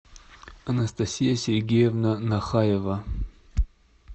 анастасия сергеевна нахаева